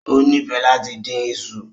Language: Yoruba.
O nifẹ lati din iṣu